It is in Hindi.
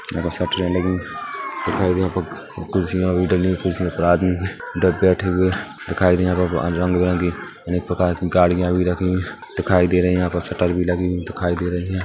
दिखाई देयहाँ पर कुर्सियाँ भी लगी हुई कुर्सियाे पर आदमी बैठे हुए दिखाई दे रहे है रंग-बिरंगी अनेक प्रकार की गाड़ियाँ भी लगी हुई दिखाई दे रही है यहाँ पर शटर भी लगी हुई दिखाई दे रही है ।